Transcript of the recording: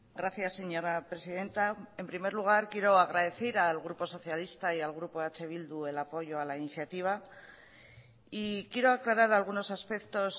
gracias señora presidenta en primer lugar quiero agradecer al grupo socialista y al grupo eh bildu el apoyo a la iniciativa y quiero aclarar algunos aspectos